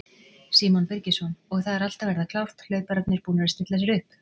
Símon Birgisson: Og það er allt að verða klárt, hlaupararnir búnir að stilla sér upp?